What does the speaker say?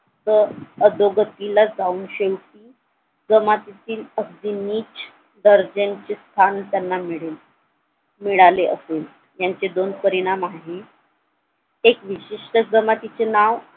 अह अधोगतीला जाऊन ते जमातीतील अगदी नीच दर्जाचे स्थान त्यांना मिळेल मिळाले असेल यांचे दोन परिणाम आहेत एक विशिष्ट जमातीचे नाव